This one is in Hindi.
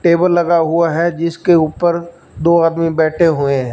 टेबल लगा हुआ है जिसके ऊपर दो आदमी बैठे हुए हैं।